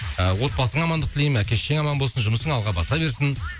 ы отбасыңа амандық тілеймін әке шешең аман болсын жұмысың алға баса берсін